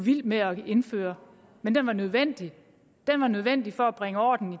vilde med at indføre men den var nødvendig den var nødvendig for at bringe orden